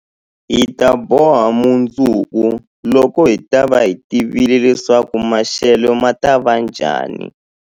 Hi ta boha mundzuku, loko hi ta va hi tivile leswaku maxelo ma ta va njhani.